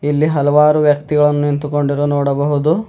ಇಲ್ಲಿ ಹಲವಾರು ವ್ಯಕ್ತಿಗಳು ನಿಂತುಕೊಂಡಿರುವುದನ್ನು ನೋಡಬಹುದು.